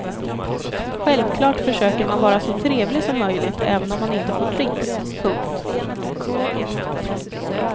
Självklart försöker man vara så trevlig som möjligt även om man inte får dricks. punkt